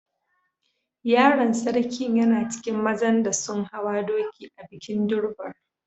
Yaron sarkin yana cikin mazan da sun hawa doki a'bikin Durbar.